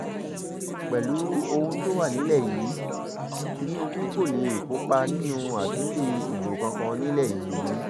pẹ̀lú ohun tó wà nílẹ̀ yìí tìǹbù kó lè kópa nínú àtúndì ìbò kankan nílẹ̀ yìí